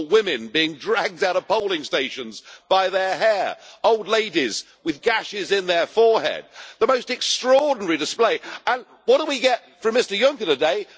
We saw women being dragged out of polling stations by their hair, old ladies with gashes in their foreheads. It was the most extraordinary display and what do we get from Mr Juncker today?